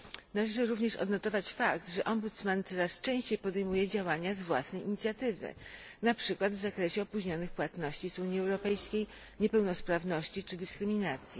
Należy również odnotować fakt, że Ombudsman coraz częściej podejmuje działania z własnej inicjatywy, na przykład w zakresie opóźnionych płatności z Unii Europejskiej, niepełnosprawności czy dyskryminacji.